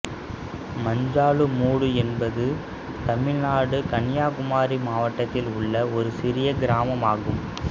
மஞ்சாலுமூடு என்பது தமிழ்நாடு கன்னியாகுமரி மாவட்டத்தில் உள்ள ஒரு சிறிய கிராமமாகும்